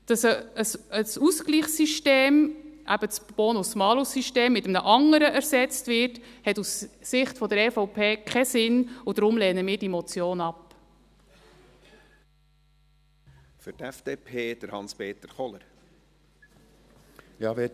Dass ein Ausgleichssystem, eben das Bonus-Malus-System, durch ein anderes ersetzt wird, hat aus Sicht der EVP keinen Sinn, und deshalb lehnen wir diese Motion ab.